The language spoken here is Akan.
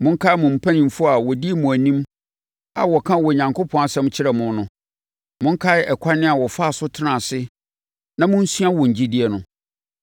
Monkae mo mpanimfoɔ a wɔdii mo anim a wɔkaa Onyankopɔn asɛm kyerɛɛ mo no. Monkae ɛkwan a wɔfaa so tenaa ase na monsua wɔn gyidie no.